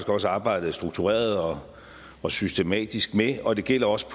også arbejdet struktureret og og systematisk med og det gælder også